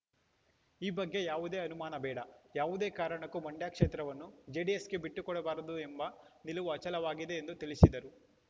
ಈ ಬಗ್ಗೆ ಯಾವುದೇ ಅನುಮಾನ ಬೇಡ ಯಾವುದೇ ಕಾರಣಕ್ಕೂ ಮಂಡ್ಯ ಕ್ಷೇತ್ರವನ್ನು ಜೆಡಿಎಸ್‌ಗೆ ಬಿಟ್ಟು ಕೊಡಬಾರದು ಎಂಬ ನಿಲುವು ಅಚಲವಾಗಿದೆ ಎಂದು ತಿಳಿಸಿದರು